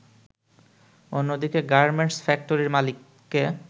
অন্যদিকে গার্মেন্টস ফ্যাক্টরির মালিককে